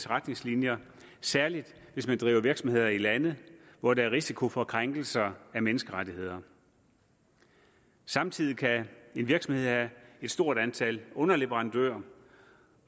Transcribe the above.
retningslinjer særlig hvis man driver virksomhed i lande hvor der er risiko for krænkelser af menneskerettighederne samtidig kan en virksomhed have et stort antal underleverandører